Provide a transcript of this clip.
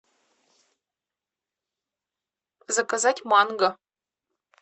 заказать манго